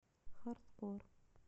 хардкор